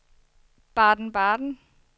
Baden-Baden